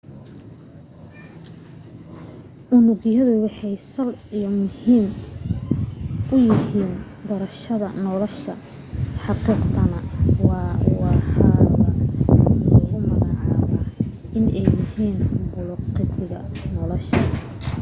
unugyadu waxay sal iyo muhiim u yihiin barashada nolosha xaqiiqatana waxaaba lagu magacaaba inay yihiin bulukeetiga nolosha